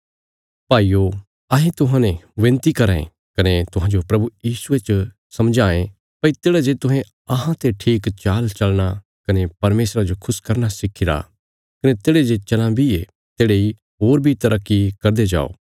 भाईयो अहें तुहांते विनती कराँ ये कने तुहांजो प्रभु यीशुये च समझावांये भई तेढ़ा जे तुहें अहांते ठीक चाल चलना कने परमेशरा जो खुश करना सिखी रा कने तेढ़े जे चलां बी ये तेढ़े इ होर बी तरक्की करदे जाओ